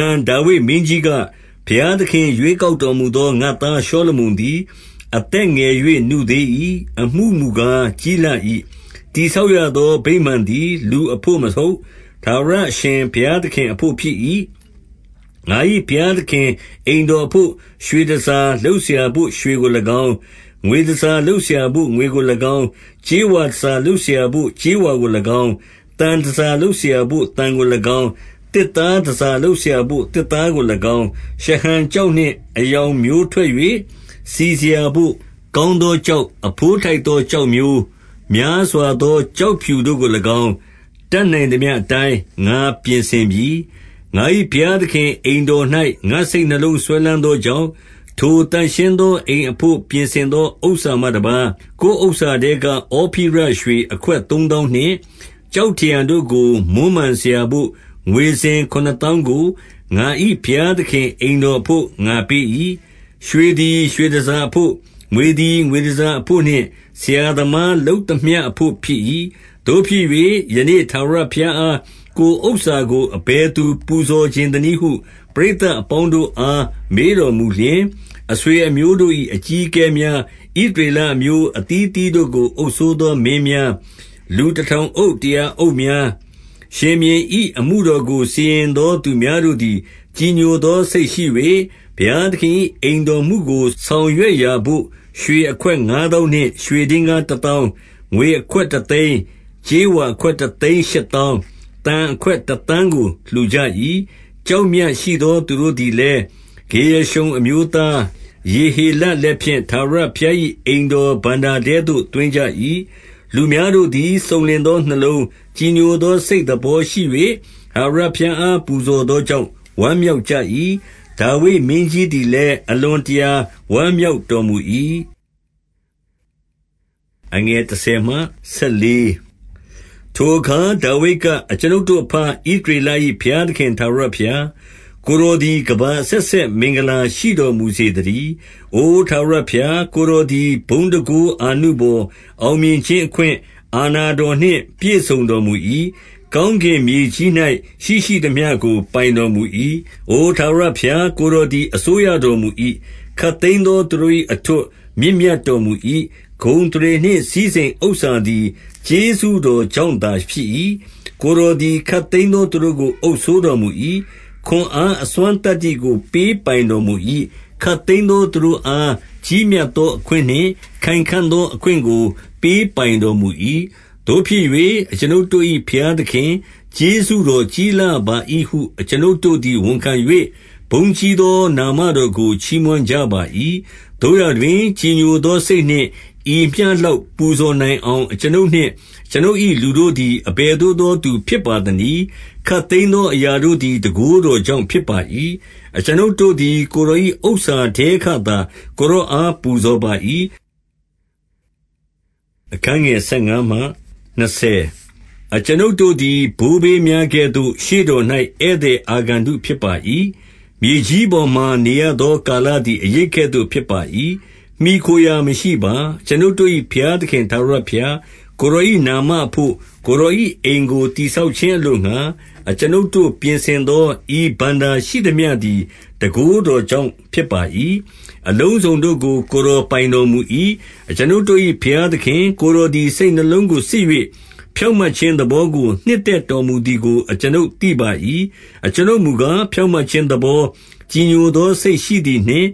န် ဒါဝိဒ်မင်းကြီးက၊ ဘုရားသခင် ရွေး ကောက်တော်မူသော ငါ့သားရှောလမုန်သည် အသက် ငယ်၍ နုသေး၏။ အမှုမူကား ကြီးလှ၏။ တည်ဆောက် ရသော ဗိမာန်သည် လူအဘို့မဟုတ်၊ ထာဝရအရှင် ဘုရားသခင်အဘို့ဖြစ်၏။ 2 ငါ၏ဘုရားသခင်အိမ်တော်အဘို့ရွှေတန်ဆာ လုပ်စရာဘို့ ရွှေကို၎င်း၊ ငွေတန်ဆာလုပ်စရာဘို့ ငွေကို ၎င်း၊ ကြေးဝါတန်ဆာလုပ်စရာဘို့ ကြေးဝါကို၎င်း၊ သံတန်ဆာလုပ် စရာဘို့ သံကို၎င်း၊ သစ်သားတန်ဆာလုပ်စရာဘို့ သစ်သားကို၎င်း၊ ရှဟံကျောက်နှင့်အရောင် မျိုးထွက်၍ စီစရာဘို့ ကောင်းသောကျောက်၊ အဘိုးထိုက် သော ကျောက်မျိုး၊ များစွာသော ကျောက်ဖြူတို့ကို၎င်း၊ တတ်နိုင်သမျှ အတိုင်းငါပြင်ဆင်ပြီ။ 3 ငါ၏ဘုရားသခင် အိမ်တော်၌ငါ့စိတ်နှလုံး စွဲလမ်းသောကြောင့်၊ 4 ထိုသန့်ရှင်းသောအိမ်အဘို့ ပြင်ဆင် သော ဥစ္စာမှတပါး ကိုယ်ဥစ္စာထဲက ဩဖိရရွှေအခွက် သုံးသောင်းနှင့်ကျောက်ထရံတို့ကို မွမ်းမံစရာဘို့ ငွေစင် ခုနစ်သောင်းကို ငါ၏ဘုရားသခင်အိမ်တော်အဘို့ ငါပေး၏။ 5 ရွှေသည် ရွှေတန်ဆာအဘို့၊ ငွေသည် ငွေ တန်ဆာအဘို့နှင့် ဆရာသမားလုပ်သမျှအဘို့ ဖြစ်၏။ သို့ဖြစ်၍ ယနေ့ထာဝရဘုရားအား ကိုယ်ဥစ္စာကို အဘယ် သူပူဇော်ချင်သနည်းဟု ပရိသတ်အပေါင်းတို့အား မေးတော်မူလျှင်၊ 6 အဆွေအမျိုးတို့၏ အကြီးအကဲများ၊ ဣသရေလ အမျိုး အသီးအသီးတို့ကို အုပ်စိုးသောမင်းများ၊ လူ တထောင်အုပ်၊ တရာအုပ်များ၊ ရှင်ဘုရင်၏ အမှုတော်ကို စီရင်သောသူများတို့သည် ကြည်ညိုသော စိတ်ရှိ၍၊ 7 ဘုရားသခင်၏အိမ်တော်မှုကို ဆောင်ရွက်ရာဘို့ ရွှေအခွက်ငါး သောင်းနှင့်ရွှေဒင်္ဂါးတသောင်း၊ ငွေအခွက် တသိန်း၊ ကြေးဝါအခွက် တသိန်းရှစ်သောင်း၊ သံအခွက် တသန်းကို လှူကြ၏။ 8 ကျောက်မြတ်ရှိသော သူတို့သည်လည်း ဂေရရှုံ အမျိုးသား ယေဟေလလက်ဖြင့် ထာဝရဘုရား၏ အိမ်တော်ဘဏ္ဍာထဲသို့ သွင်းကြ၏။ 9 လူများတို့သည် စုံလင်သောနှလုံး၊ ကြည်ညို သော စိတ်သဘောရှိ၍ ထာဝရဘုရားအား ပူဇော်သော ကြောင့် ဝမ်းမြောက်ကြ၏။ ဒါဝိဒ်မင်းကြီးသည်လည်း အလွန်တရာဝမ်းမြောက်တော်မူ၏။ 10 ထိုအခါဒါဝိဒ်က၊ အကျွန်ုပ်တို့အဘ ဣသရေလ ၏ဘုရားသခင် ထာဝရဘုရား၊ ကိုယ်တော်သည် ကမ္ဘာ အဆက်ဆက် မင်္ဂလာရှိတော်မူစေသတည်း။ 11 အိုထာဝရဘုရား၊ ကိုယ်တော်သည် ဘုန်းတန်ခိုး အာနုဘော်၊ အောင်မြင်ခြင်းအခွင့်၊ အာဏာတော်နှင့် ပြည့်စုံတော်မူ၏။ ကောင်းကင်မြေကြီး၌ရှိရှိသမျှကို ပိုင်တော်မူ၏။ အိုထာဝရဘုရား၊ကိုယ်တော်သည် အစိုးရ တော်မူ၏။ ခပ်သိမ်းသောသူတို့၏ အထွဋ်၊ မြင့်မြတ်တော် မူ၏။ 12 ဂုဏ်အသရေနှင့် စည်းစိမ်ဥစ္စာသည် ကျေးဇူး တော်ကြောင့်သာ ဖြစ်၏။ကိုယ်တော်သည် ခပ်သိမ်းသော သူတို့ကို အုပ်စိုးတော်မူ၏။ ခွန်အား အစွမ်းသတ္တိကို ပေးပိုင်တော်မူ၏။ ခပ်သိမ်းသောသူတို့အား ကြီးမြတ် သော အခွင့်နှင့်ခိုင်ခံ့သော အခွင့်ကို ပေးပိုင်တော်မူ၏။ 13 သို့ဖြစ်၍ အကျွန်ုပ်တို့၏ ဘုရားသခင်၊ ကျေးဇူး တော်ကြီးလှပါသည်ဟု အကျွန်ုပ်တို့သည် ဝန်ခံ၍ ဘုန်းကြီးသော နာမတော်ကို ချီးမွမ်းကြပါ၏။ 14 သို့ရာတွင် ကြည်ညိုသောစိတ်နှင့် ဤမျှလောက် ပူဇော်နိုင်အောင် အကျွန်ုပ်နှင့်အကျွန်ုပ်၏လူတို့သည် အဘယ်သို့သောသူဖြစ်ပါသနည်း။ ခပ်သိမ်းသောအရာတို့ သည် တန်ခိုးတော်ကြောင့်ဖြစ်ပါ၏။ အကျွန်ုပ်တို့သည် ကိုယ်တော်၏ဥစ္စာထဲကသာ ကိုယ်တော်အား ပူဇော်ပါ၏။ 15 အကျွန်ုပ်တို့သည် ဘိုးဘေးများကဲ့သို့ ရှေ့တော်၌ ဧည့်သည် အာဂန္တုဖြစ်ပါ၏။ မြေကြီးပေါ်မှာ နေရသော ကာလသည် အရိပ်ကဲ့သို့ ဖြစ်ပါ၏။ မှီခိုရာမရှိပါ။ 16 အကျွန်ုပ်တို့၏ ဘုရားသခင် ထာဝရဘုရား၊ ကိုယ်တော်၏နာမအဘို့ ကိုယ်တော်၏အိမ်ကို တည် ဆောက်ခြင်းအလိုငှါ၊ အကျွန်ုပ်တို့ ပြင်ဆင်သောဤ ဘဏ္ဍာရှိသမျှသည် တန်ခိုးတော်ကြောင့်ဖြစ်ပါ၏။ အလုံး စုံတို့ကို ကိုယ်တော်ပိုင်တော်မူ၏။ 17 အကျွန်ုပ်တို့၏ ဘုရားသခင်၊ ကိုယ်တော်သည် စိတ်နှလုံးကို စစ်၍ ဖြောင့်မတ်ခြင်းသဘောကို နှစ်သက် တော်မူသည်ကို အကျွန်ုပ်သိပါ၏။ အကျွန်ုပ်မူကား ဖြောင့်မတ်ခြင်းသဘော၊ ကြည်ညိုသော စိတ်ရှိသည် နှင့်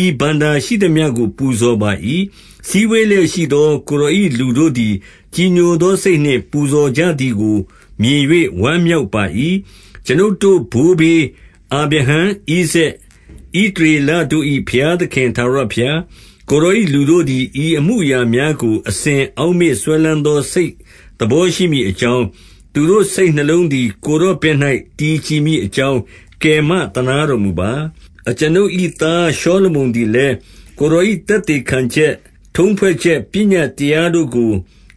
ဤဘဏ္ဍာရှိသမျှကို ပူဇော်ပါ၏။ စည်းဝေးလျက်ရှိသော ကိုယ်တော်၏ လူတို့သည် ကြည်ညိုသော စိတ်နှင့် ပူဇော်ကြသည်ကို မြင်၍ဝမ်းမြောက်ပါ၏။ 18 အကျွန်ုပ်တို့ ဘိုးဘေးအာဗြဟံ၊ ဣဇာက်၊ ဣသ ရေလတို့၏ ဘုရားသခင် ထာဝရဘုရား၊ ကိုယ်တော်၏ လူတို့သည် ဤအမှုအရာများကို၊ အစဉ်အောက်မေ့စွဲလမ်း သော စိတ်သဘောရှိမည်အကြောင်း၊ သူတို့စိတ်နှလုံး သည် ကိုယ်တော်ဘက်၌ တည်ကြည်မည်အကြောင်း ကယ်မသနားတော်မူပါ။ 19 အကျွန်ုပ်၏သားရှောလမုန်သည်လည်း ကိုယ် တော်၏ သက်သေခံချက်၊ ထုံးဖွဲ့ချက်ပညတ်တရားတို့ကို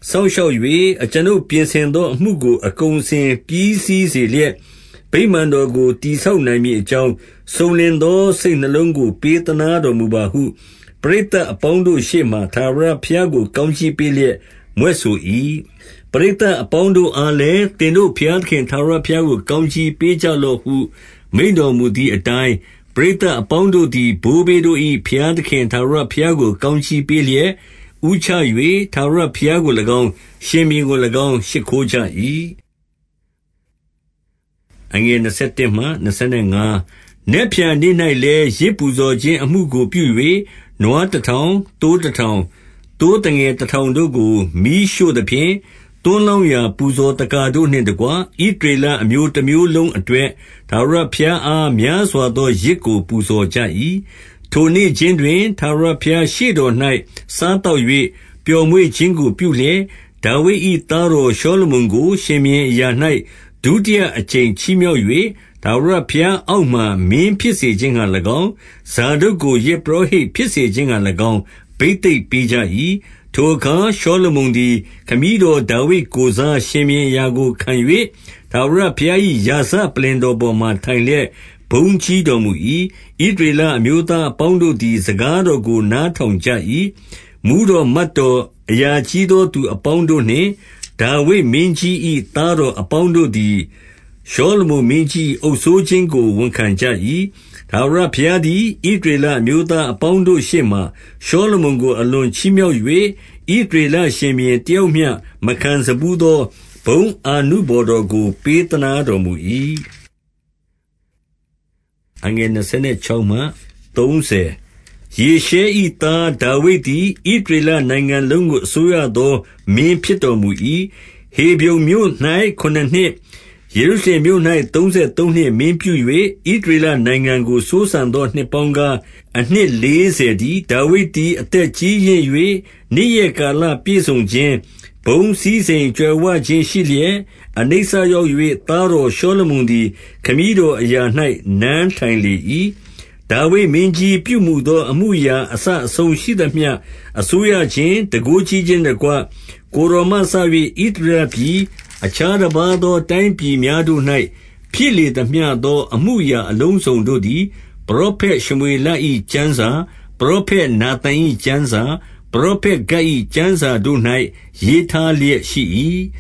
စောင့်ရှောက်၍၊ အကျွန်ုပ် ပြင်ဆင်သော အမှုကို အကုန် အစင်ပြီးစီးစေလျက်၊ ဗိမာန်တော်ကို တည်ဆောက်နိုင် မည်အကြောင်း၊ စုံလင်သော စိတ်နှလုံးကို ပေးသနား တော်မူပါဟု၊ ပရိသတ်အပေါင်းတို့ရှေ့မှာ ထာဝရဘုရား ကို ကောင်းကြီးပေးလျက် မြွက်ဆို၏။ 20 ပရိသတ်အပေါင်းတို့အားလည်း၊ သင်တို့၏ ဘုရားသခင် ထာဝရဘုရားကို ကောင်းကြီးပေးကြလော့ ဟု မိန့်တော်မူသည်အတိုင်း၊ ပရိသတ်အပေါင်းတို့သည် ဘိုးဘေးတို့၏ ဘုရားသခင်ထာဝရဘုရားကို ကောင်းကြီး ပေးလျက် ဦးချ၍ ထာဝရဘုရားကို၎င်း၊ ရှင်ဘုရင်ကို၎င်း ရှိခိုးကြ၏။ 21 နက်ဖြန်နေ့၌လည်း ယဇ်ပူဇော်ခြင်း အမှုကိုပြု၍ နွားတထောင်၊ သိုးတထောင်၊ သိုးသငယ် တထောင်တို့ကို မီးရှို့သဖြင့်၊ သွန်းလောင်းရာ ပူဇော်သက္ကာတို့နှင့်တကွ ဣသရေလအမျိုးတမျိုးလုံးအတွက် ထာဝရဘုရား အား များစွာသော ယဇ်ကို ပူဇော်ကြ၏။ 22 ထိုနေ့ခြင်းတွင် ထာဝရဘုရားရှေ့တော်၌ စား သောက်၍ ပျော်မွေ့ခြင်းကို ပြုလျက်ဒါဝိဒ်၏ သားတော် ရှောလမုန်ကို ရှင်ဘုရင်အရာ၌ ဒုတိယအကြိမ် ချီး မြှောက်၍ ထာဝရဘုရားအောက်မှာ မင်းဖြစ်စေခြင်းငှါ ၎င်း၊ ဇာဒုတ်ကိုယဇ်ပုရောဟိတ်ဖြစ်စေခြင်းငှါ၎င်း ဘိသိက်ပေးကြ၏။ 23 ထိုအခါရှောလမုန်သည် ခမည်းတော် ဒါဝိဒ် ကိုယ်စား ရှင်ဘုရင်အရာကိုခံ၍ ထာဝရဘုရား၏ ရာဇ ပလ္လင်တော်ပေါ်မှာ ထိုင်လျက် ဘုန်းကြီးတော်မူ၏။ ဣသ ရေလအမျိုးသားအပေါင်းတို့သည် စကားတော်ကို နားထောင်ကြ၏။ 24 မှူးတော်မတ်တော်၊ အရာကြီးသော သူအပေါင်း တို့နှင့် ဒါဝိဒ်မင်းကြီး၏သားတော်အပေါင်းတို့သည် ရှောလမုန်မင်းကြီး၏ အုပ်စိုးခြင်းကို ဝန်ခံကြ၏။ 25 ထာဝရဘုရားသည် ဣသရေလအမျိုးသား အပေါင်းတို့ရှေ့မှာ ရှောလမုန်ကိုအလွန်ချီးမြှောက်၍ ဣသရေလရှင်ဘုရင်တယောက်မျှ မခံစဖူးသော ဘုန်း အာနုဘော်တော်ကို ပေးသနားတော်မူ၏။ 26 ယေရှဲ၏သားဒါဝိဒ်သည် ဣသရေလနိုင်ငံလုံး ကို အစိုးရသောမင်းဖြစ်တော်မူ၏။ 27 ဟေဗြုန်မြို့၌ ခုနစ်နှစ်၊ ယေရုရှလင်မြို့၌ သုံးဆယ်သုံးနှစ်မင်းပြု ၍ဣသရေလနိုင်ငံကို စိုးစံသော နှစ်ပေါင်းကား အနှစ်လေးဆယ်တည်း။ 28 ဒါဝိဒ်သည် အသက်ကြီးရင့်၍ နေ့ရက်ကာလ ပြည့်စုံခြင်း၊ ဘုန်းစည်းစိမ်ကြွယ်ဝခြင်းရှိလျက် အနိစ္စ ရောက်၍ သားတော်ရှောလမုန်သည် ခမည်းတော် အရာ၌ နန်းထိုင်လေ၏။ 29 ဒါဝိဒ်မင်းကြီးပြုမူသော အမှုအရာအစအဆုံး ရှိသမျှ၊ အစိုးရခြင်း၊ တန်ခိုးကြီးခြင်းနှင့်တကွ၊ 30 ကိုယ်တော် မှစ၍ ဣသရေလပြည်၊ အခြားတပါးသော တိုင်းပြည်များ တို့၌ဖြစ်လေသမျှသော အမှုအရာအလုံးစုံတို့သည် ပရောဖက်ရှမွေလ၏ ကျမ်းစာပရောဖက် နာသန်၏ကျမ်းစာ၊ ပရောဖက်ဂဒ်၏ ကျမ်းစာတို့၌ ရေးထား လျက်ရှိ၏။